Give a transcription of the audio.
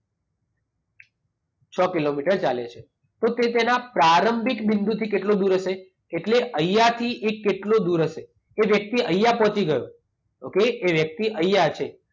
છ કિલોમીટર ચાલે છે. તો તે તેના પ્રારંભિક બિંદુથી કેટલો દૂર હશે? એટલે અહિયાંથી એ કેટલો દૂર હશે? કે જેથી અહીંયા પહોંચી ગયો. ઓકે? એ વ્યક્તિ અહીંયા છે.